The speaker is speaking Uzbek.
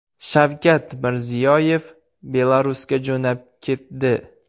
Shavkat Mirziyoyev Belarusga jo‘nab ketdi.